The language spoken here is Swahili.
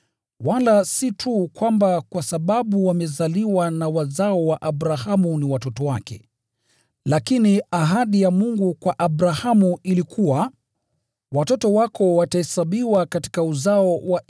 Wala hawakuwi wazao wa Abrahamu kwa sababu wao ni watoto wake, lakini: “Uzao wako utahesabiwa kupitia kwake Isaki.”